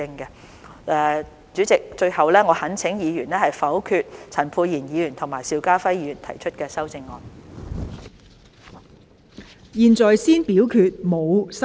代理主席，最後我懇請議員否決陳沛然議員和邵家輝議員提出的修正案。